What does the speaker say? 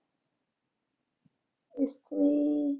ਅਮ